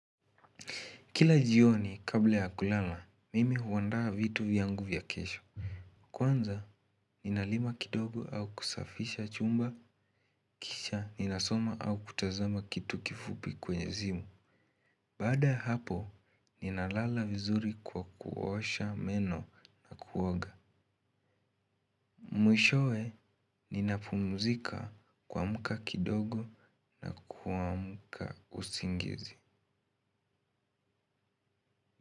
Kila jioni, kabla ya kulala, mimi huandaa vitu vyangu vya kesho. Kwanza, ninalima kidogo au kusafisha chumba, kisha, ninasoma au kutazama kitu kifupi kwenye simu. Baada ya hapo, ninalala vizuri kwa kuosha meno na kuoga. Mwishowe, ninapumzika kuamka kidogo na kuamka usingizi.